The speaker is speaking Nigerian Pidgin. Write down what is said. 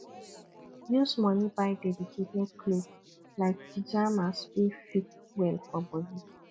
use money buy dedicated clothes like pyjamas wey fit well for body